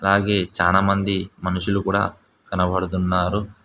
అలాగే చానామంది మనుషులు కూడా కనబడుతున్నారు.